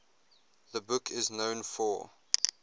the book is known for